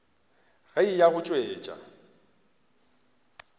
ge a eya go tšwetša